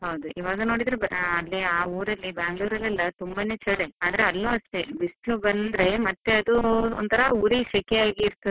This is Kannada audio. ಹೌದು, ಇವಾಗ ನೋಡಿದ್ರೆ ಅದೇ ಆ ಊರಲ್ಲಿ Bangalore ಅಲ್ಲಿ ಎಲ್ಲಾ ತುಂಬಾನೇ ಚಳಿ, ಆದ್ರೆ ಅಲ್ಲೂ ಅಷ್ಟೇ ಬಿಸ್ಲು ಬಂದ್ರೆ ಮತ್ತೆ ಅದು ಒಂತರ ಉರಿ ಸೆಕೆ ಆಗಿರ್ತದೆ.